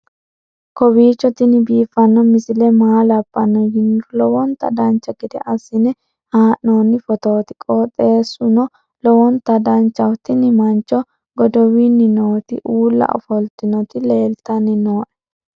kowiicho tini biiffanno misile maa labbanno yiniro lowonta dancha gede assine haa'noonni foototi qoxeessuno lowonta danachaho. tini mancho godowinni nooti uulla ofoltinoti leltanni nooe